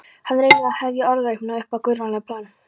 Hann reynir að hefja orðræðuna upp á guðfræðilegt plan.